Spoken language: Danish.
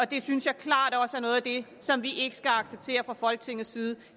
det synes jeg klart også er noget af det som vi ikke skal acceptere fra folketingets side